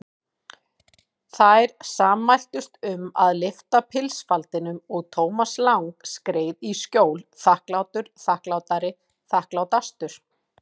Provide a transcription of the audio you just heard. Þær sammæltust um að lyfta pilsfaldinum og Thomas Lang skreið í skjól, þakklátur, þakklátari, þakklátastur.